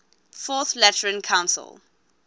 fourth lateran council